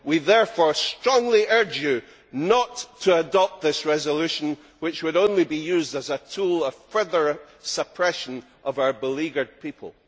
We therefore strongly urge you not to adopt this resolution, which would only be used as a tool of further suppression of our beleaguered people.'